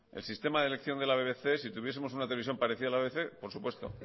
el sistema de elección de la bbc si tuviesemos una televisión parecida a la bbc por supuesto